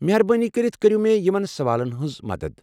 مہربٲنی کٔرِتھ کریو مےٚ یِمن سوالَن مَنٛز مدتھ ۔